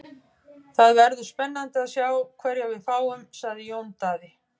Það verður spennandi að sjá hverja við fáum, sagði Jón Daði.